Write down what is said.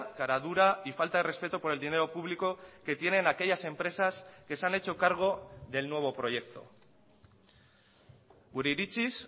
caradura y falta de respeto por el dinero público que tienen aquellas empresas que se han hecho cargo del nuevo proyecto gure iritziz